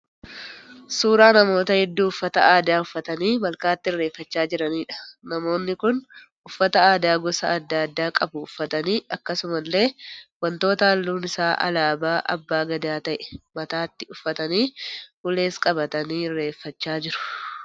Suuraa namoota hedduu uffata aadaa uffatanii malkaatti irreefachaa jiraniidha. Namoonni kun uffata aadaa gosa adda addaa qabu uffatanii akkasumallee wantoota halluun isaa alaabaa abbaa gadaa ta'e mataatti uffatanii ulees qabatanii irreefachaa jiru.